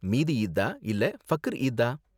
மீதி ஈத்தா இல்ல பக்ர் ஈத்தா